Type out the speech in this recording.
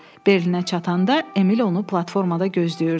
Berlinə çatanda Emil onu platformada gözləyirdi.